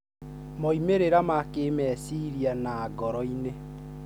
Moimĩrĩra ma kĩmeciria na ngoro-inĩ.